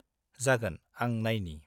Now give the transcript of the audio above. -जागोन, आं नायनि।